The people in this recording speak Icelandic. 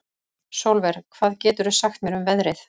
Sólver, hvað geturðu sagt mér um veðrið?